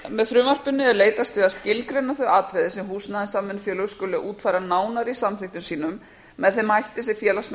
með frumvarpinu er leitast við að skilgreina þau atriði sem húsnæðissamvinnufélög skuli útfæra nánar í samþykktum sínum með þeim hætti sem félagsmenn